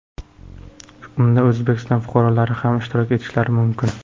Unda O‘zbekiston fuqarolari ham ishtirok etishlari mumkin.